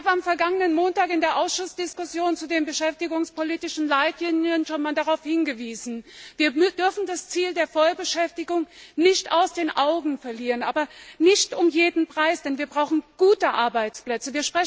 Ich habe am vergangenen Montag in der Ausschussdiskussion zu den beschäftigungspolitischen Leitlinien schon einmal darauf hingewiesen Wir dürfen das Ziel der Vollbeschäftigung nicht aus den Augen verlieren, aber nicht Vollbeschäftigung um jeden Preis, denn wir brauchen gute Arbeitsplätze.